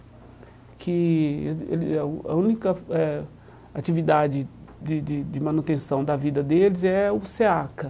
Que ele ele a A única eh atividade de de de manutenção da vida deles é o SEACA.